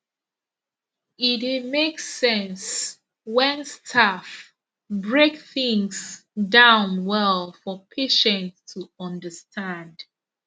e dey make sense when staff break things down well for patient to understand